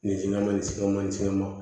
Ni sin ka makɛ mansin ma